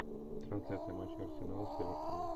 трансляция матча арсенал с эвертоном